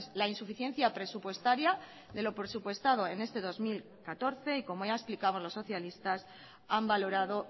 la insuficiencia presupuestaria de lo presupuestado en este dos mil catorce y como ya explicamos los socialistas han valorado